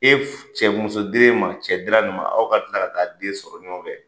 E cɛ muso dir'e ma, cɛ dira nin ma, aw ka tila ka taa den sɔrɔ ɲɔgɔn fɛ.